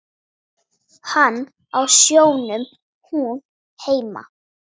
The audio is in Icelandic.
Hann á sjónum, hún heima.